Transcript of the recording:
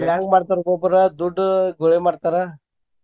ಈಗ ಹೆಂಗ್ ಮಾಡ್ತಾರ ಒಬ್ಬೊಬ್ರ ದುಡ್ಡು ಗೊಳೆ ಮಾಡ್ತಾರ.